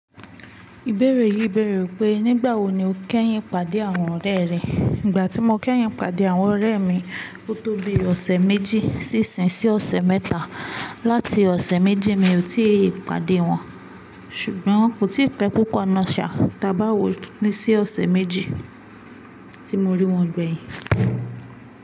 Ìbéèrè yìí bèèrè pé, nígbà wo ni o kẹ́yìn pàdé àwọn ọ̀rẹ́ rẹ? Ìgbà tí mo kẹ́yìn pàdé àwọn ọ̀rẹ́ mi, ó tó bi ọ̀sẹ̀ méjì sí ìsìn sí ọ̀sẹ̀ mẹ́ta. Láti ọ̀sẹ̀ méjì mi ò tí ì pàdé wọn, ṣùgbọ́n kò tí ì pe pupo nàa ṣà, tàbí àwọ̀ ni sí ọ̀sẹ̀ méjì tí mo rí wọn gbẹ̀yìn.